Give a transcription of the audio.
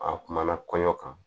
A kumana kɔɲɔ kan